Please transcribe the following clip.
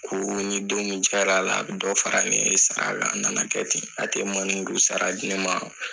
Ko ni don min diyr'a la a bɛ dɔ fara ne sara la , a nana kɛ ten , a tɛ sara di n ma .